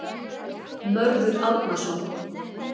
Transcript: Mörður Árnason.